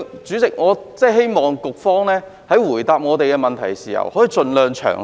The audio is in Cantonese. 主席，我希望局方在回答我們的質詢時可以盡量詳細。